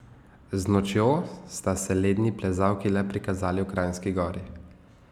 Z nočjo sta se ledni plezalki le prikazali v Kranjski Gori.